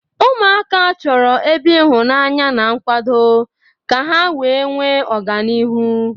Ụmụaka chọrọ ebe ịhụnanya na nkwado ka ha wee nwee ọganihu.